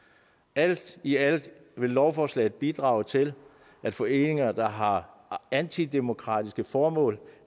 alt i alt vil lovforslaget bidrage til at foreninger der har antidemokratiske formål